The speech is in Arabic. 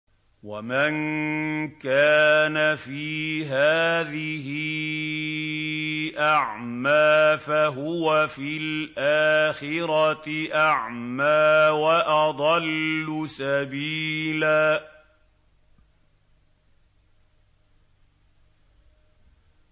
وَمَن كَانَ فِي هَٰذِهِ أَعْمَىٰ فَهُوَ فِي الْآخِرَةِ أَعْمَىٰ وَأَضَلُّ سَبِيلًا